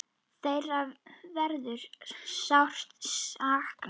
Þeirra verður sárt saknað.